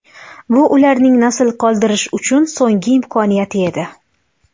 Bu ularning nasl qoldirish uchun so‘nggi imkoniyati edi.